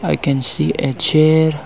i can see a chair